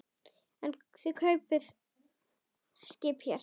En þið kaupið skip hér.